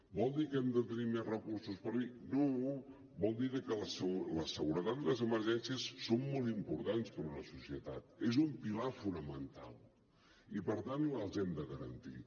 vol dir que hem de tenir més recursos no vol dir que la seguretat i les emergències són molt importants per una societat és un pilar fonamental i per tant les hem de garantir